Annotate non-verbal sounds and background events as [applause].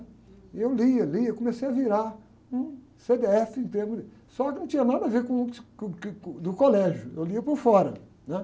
E eu lia, lia, comecei a virar um cê-dê-éfe em termos de... Só que não tinha nada a ver com o, [unintelligible] do colégio, eu lia por fora, né?